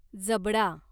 जबडा